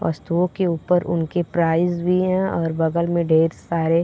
वस्तुओं के ऊपर उनके प्राइज भी हैं और बगल में ढेर सारे --